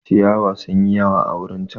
Ciyawa sun yi yawa a wurin chan.